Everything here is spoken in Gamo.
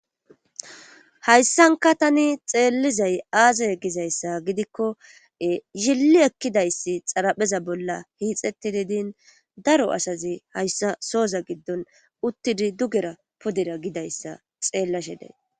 Hayssankka tani xeellizay aaze gizayssa gidikko yillli ekkizayssi xarapheeza bolla hiixettidi din daro asazi hayssa sooza giddon puderha digera din hayssa xeellashe days